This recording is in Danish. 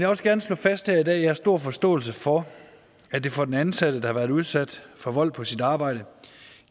også gerne slå fast her i dag at jeg har stor forståelse for at det for den ansatte der har været udsat for vold på sit arbejde